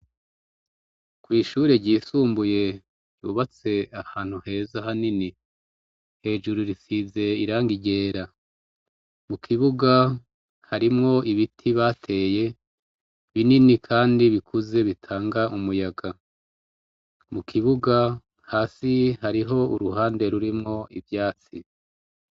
Kw ishure ry' isumbuye ryubatse ahantu heza hanini, hejuru risize' irangi ryera, mu kibuga harimwo ibiti bateye binini kandi bikuze bitanga umuyaga, mu kibuga hasi hariho uruhande rurimwo ivyatsi.